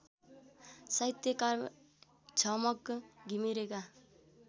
साहित्यकार झमक घिमिरेका